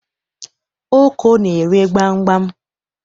Oko na-ere gbam gbam